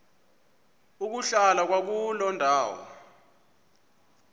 ukuhlala kwakuloo ndawo